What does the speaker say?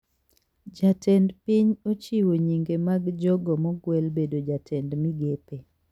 Jatend piny ochiwo nyinge mag jogo mogwel bedo jatend migepe